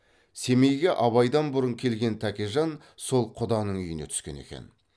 семейге абайдан бұрын келген тәкежан сол құданың үйіне түскен екен